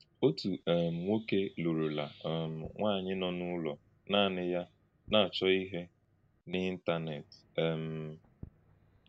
Ọ̀tù um nwókè lùrùlà um nwànyí nọ n’ùlọ̀ nanị ya na-achọ́ íhè n’Ị̀ntánèt. um